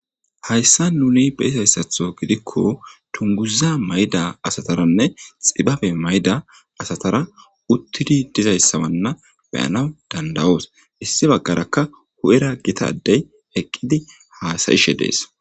hayssan nuni be7izayissatho gidikko dunguza mayda asataranne xibabe mayda asatara uttidi dizayssabanna be7anaw danda7oos issi baggarakka hu7era gitadey eqqidi haasa7ishe de7es